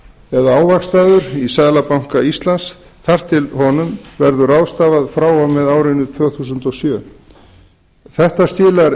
eða ávaxtaður í seðlabanka íslands þar til honum verður ráðstafað frá og með árinu tvö þúsund og sjö þetta skilar